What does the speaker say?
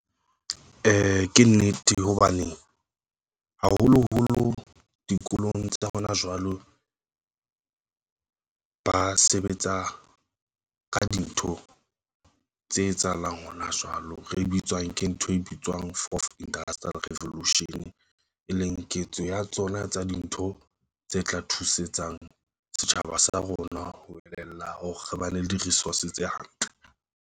Ke nnete hobane haholoholo dikolong tsa jwalo ba sebetsa ka dintho tse etsahalang hona jwalo ke ntho e bitswang Forth Industrial Revolution, e leng ketso ya tsona tsa dintho tse tla thusetsang setjhaba sa rona. Ho elellwa hore re bane le di-resource tse hantle.